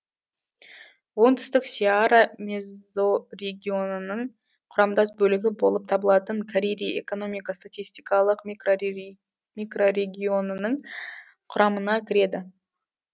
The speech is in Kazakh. оңтүстік сеара мезорегионының құрамдас бөлігі болып табылатын карири экономика статистикалық микрорегионының құрамына кіреді